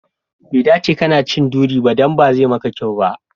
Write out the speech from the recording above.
Bai dace kana cin duri ba, dan bazai maka kyau ba.